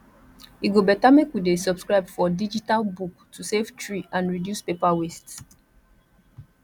e go better make we dey subscribe for digital book to save tree and reduce paper waste